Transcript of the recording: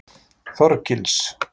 Þorgils